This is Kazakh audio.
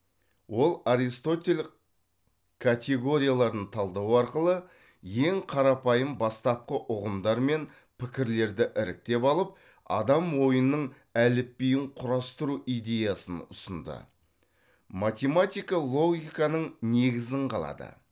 ол аристотель категорияларын талдау арқылы ең қарапайым бастапқы ұғымдар мен пікірлерді іріктеп алып адам ойының әліпбиін құрастыру идеясын ұсынды математика логиканың негізін қалады